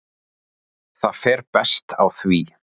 Það fer best á því.